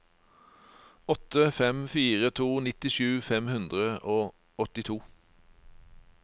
åtte fem fire to nittisju fem hundre og åttito